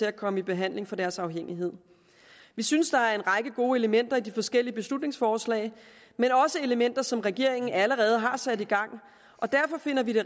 at komme i behandling for deres afhængighed vi synes der er en række gode elementer i de forskellige beslutningsforslag men også elementer som regeringen allerede har sat i gang derfor finder vi det